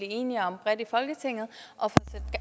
enige om bredt i folketinget og